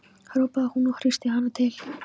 hrópaði hún og hristi hana til.